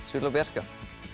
svölu og Bjarka